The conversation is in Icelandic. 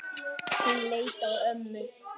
Hún leit á ömmu.